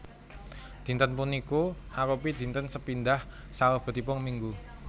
Dinten puniku arupi dinten sepindhah salebetipun minggu